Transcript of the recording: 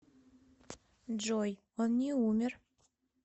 джой он не умер